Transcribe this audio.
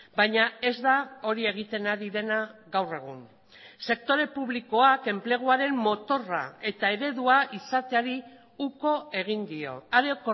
baina ez da hori egiten ari dena gaur egun sektore publikoak enpleguaren motorra eta eredua izateari uko egin dio are